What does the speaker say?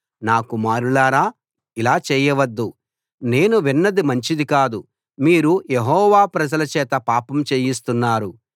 నా కుమారులారా ఇలా చేయవద్దు నేను విన్నది మంచిది కాదు మీరు యెహోవా ప్రజల చేత పాపం చేయిస్తున్నారు